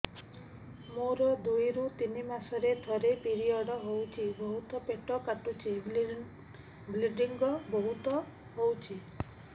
ମୋର ଦୁଇରୁ ତିନି ମାସରେ ଥରେ ପିରିଅଡ଼ ହଉଛି ବହୁତ ପେଟ କାଟୁଛି ବ୍ଲିଡ଼ିଙ୍ଗ ବହୁତ ହଉଛି